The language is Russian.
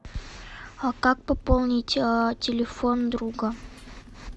а как пополнить телефон друга